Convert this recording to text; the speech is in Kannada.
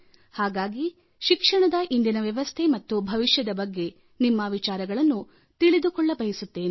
ಹೀಗಾಗಿ ಶಿಕ್ಷಣದ ಇಂದಿನ ವ್ಯವಸ್ಥೆ ಮತ್ತು ಭವಿಷ್ಯದ ಬಗ್ಗೆ ನಿಮ್ಮ ವಿಚಾರಗಳನ್ನು ತಿಳಿದುಕೊಳ್ಳಬಯಸುತ್ತೇನೆ